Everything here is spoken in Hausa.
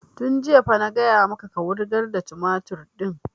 Tun jiya fa na gaya maka ka wurgar da tumatur ɗin!